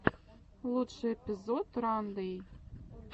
лучший эпизод рандэй